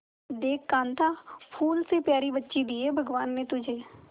देख कांता फूल से प्यारी बच्ची दी है भगवान ने तुझे